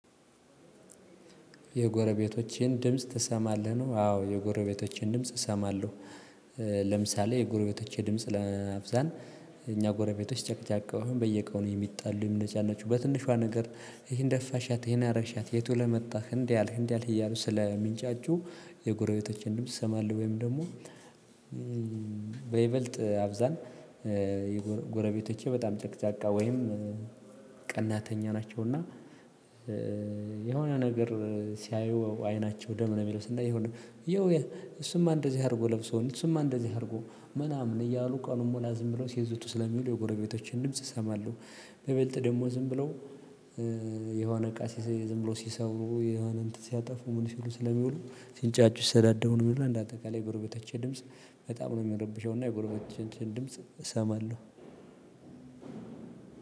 የጎረቤቶችን ድምጽ ትሰማለህ? ነው አዎ የጎረቤቶችን ድምጽ እሰማለሁ። ለምሳሌ የጎረቤቶቼ ድምጽ ለአብዛን እኛ ጎረቤቶች ጨቅጫቃው አሁን በየቀኑ የሚጣሉ የሚነጫናችሁ በትንሿ ነገር ይሄን ደፋሻት ይሄን አረግሻት የት ውለህ መጣህ እንዲህ አልክ እንዲህ አልክ እያሉ ስላየው ሚንጫጩሁ። የጎረቤቶቸን ድምጽ እሰማለሁ። ወይም ደግሞ በይበልጥ አብዛን የጎረቤቶቼ በጣም ጨቅጫቃ ወይም ቀናተኛ ናቸው። እና የሆነ ነገር ሲያዩ አይናቸው ደም ነው የሚለብስ የሆነ ይሄው እሱማ እንደዚህ አድርጎ ለብሶ እሱማ እንደዚህ አድርጎ ምናምን እያሉ ቀኑን ሙላ ዝም ብለው ሲዝቱ ስለሚሉ የጎረቤቶችን ድምጽ እሰማለሁ። በይበልጥ ደግሞ ዝም ብለው የሆነ እቃ ዝም ብሎ ሲሰብሩ የሆነ እንትን ሲያጠፉ ምን ሲሉ ስለሚውሉ ሲንጫጩ ሲሰዳቡ ነው የሚሉት። እንደ አጠቃላይ የጎረቤቶቸ ድምጽ በጣም ነው የሚረብሸው። እና የጎረቤቶቸን ድምጽ እሰማለሁ።